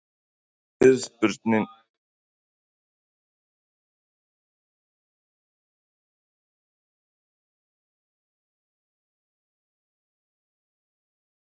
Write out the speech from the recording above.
Fyrirspurnir sem var svarað: Geta aðstoðardómarar leyst aðaldómara leiks frá störfum í leik?